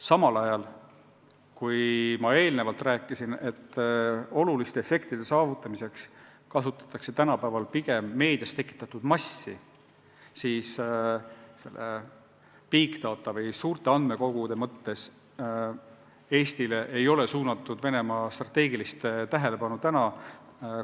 Samas, ma enne rääkisin, et oluliste efektide saavutamiseks kasutatakse tänapäeval pigem meedias tekitatud massi, ja big data või suurte andmekogude mõttes ei ole Venemaa strateegiline tähelepanu praegu Eestile suunatud.